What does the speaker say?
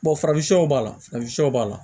farafinw b'a la farafinw b'a la